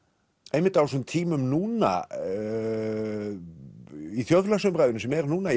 einmitt á þessum tímum núna í þjóðfélagsumræðunni sem er núna í